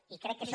i crec que això